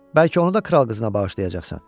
Bəlkə onu da kral qızına bağışlayacaqsan?